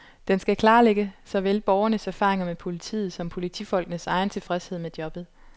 Den skal klarlægge såvel borgernes erfaringer med politiet som politifolkenes egen tilfredshed med jobbet.